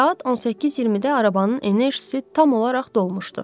Saat 18:20-də arabanın enerjisi tam olaraq dolmuşdu.